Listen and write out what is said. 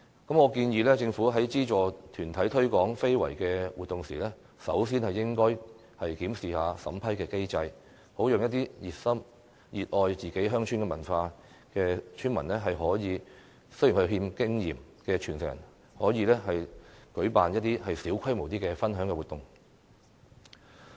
我建議政府在資助團體推廣非遺活動時，首先應該檢視審批機制，讓熱心、熱愛自己鄉村文化但又欠缺經驗的傳承人舉辦一些小規模的分享活動。